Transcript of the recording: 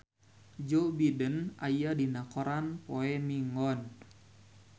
Joe Biden aya dina koran poe Minggon